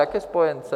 Jaké spojence?